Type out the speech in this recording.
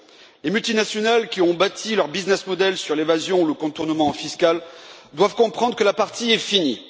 Les multinationales qui ont bâti leur modèle commercial sur l'évasion ou le contournement fiscal doivent comprendre que la partie est finie.